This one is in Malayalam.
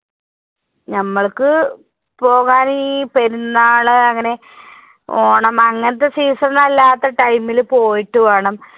നമ്മൾക്ക് പോകാൻ ഈ പെരുന്നാള് അങ്ങനെ ഓണം അങ്ങനത്തെ season അല്ലാത്ത time ൽ പോയിട്ട് വേണം